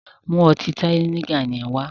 Mú ọtí Tiger yẹn wá!